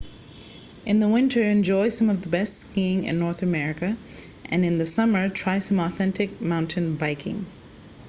in the winter enjoy some of the best skiing in north america and in the summer try some authentic mountain biking